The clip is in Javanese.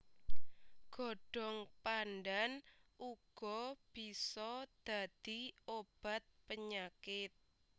Godhong pandhan uga bisa dadi obat penyakit